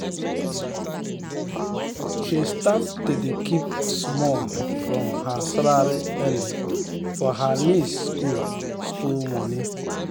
she start to dey keep small from her salary early for her niece school school money.